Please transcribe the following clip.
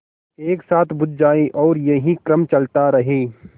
एक साथ बुझ जाएँ और यही क्रम चलता रहे